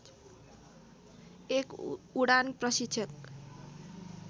एक उडान प्रशिक्षक